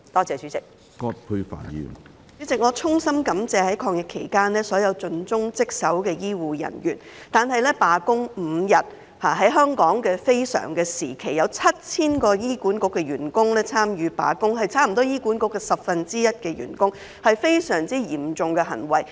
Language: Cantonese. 主席，我衷心感謝所有在抗疫期間盡忠職守的醫護人員，但在香港的非常時期，有7000名醫管局員工參與罷工5天，差不多是醫管局員工的十分之一，這是非常嚴重的行為。